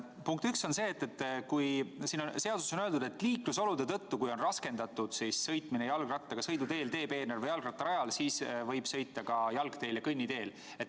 Punkt üks on see: siin seaduses on öeldud, et kui liiklusolude tõttu on jalgrattaga sõiduteel, teepeenral või jalgrattarajal sõitmine raskendatud, siis võib sõita ka jalgteel ja kõnniteel.